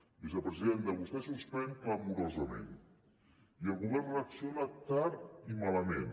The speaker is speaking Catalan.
vicepresidenta vostè suspèn clamorosament i el govern reacciona tard i malament